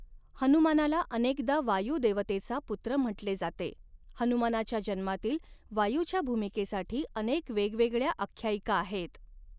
हनुमानाला अनेकदा वायु देवतेचा पुत्र म्हटले जाते, हनुमानाच्या जन्मातील वायूच्या भूमिकेसाठी अनेक वेगवेगळ्या आख्यायिका आहेत.